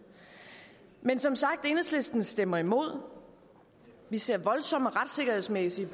men som sagt enhedslisten stemmer imod vi ser voldsomme retssikkerhedsmæssige